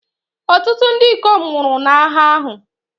Ọtụtụ ndị ikom nwụrụ n'agha ahụ.